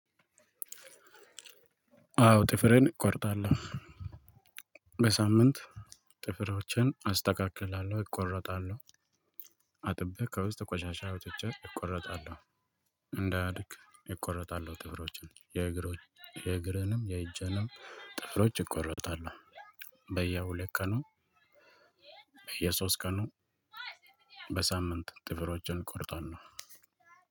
አዎ ጥፍሬን እቆርጣለሁ። በሳምንት ጥፍርዎችን አስተካክላለሁ እቆርጣለሁ። አጥቤ ከውስጥ ቆሻሻ አውጥቼ እቆረጣለሁ። እንዳያድግ እቆረጣለሁ። ጥፍሮቼን የእግሬንም የእጀንም ጥፍሮች እቆረጣለሁ። በየሁለት ቀኑ በየሶስት ቀኑ በሳምንት ጥፍሮችን እቆርጣለሁ።